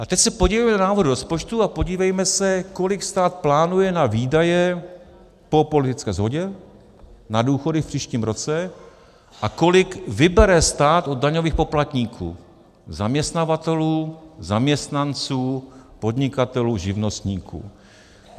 A teď se podívejme do návrhu rozpočtu a podívejme se, kolik stát plánuje na výdaje, po politické shodě, na důchody v příštím roce a kolik vybere stát od daňových poplatníků: zaměstnavatelů, zaměstnanců, podnikatelů, živnostníků.